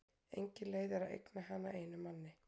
Engin leið er að eigna hana einum manni.